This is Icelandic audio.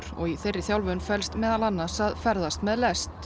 og í þeirri þjálfun felst meðal annars að ferðast með lest